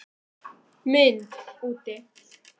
MYND úti